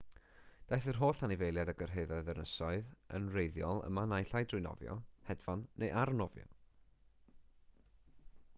daeth yr holl anifeiliaid a gyrhaeddodd yr ynysoedd yn wreiddiol yma naill ai trwy nofio hedfan neu arnofio